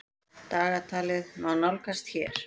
Dagatalið má nálgast hér.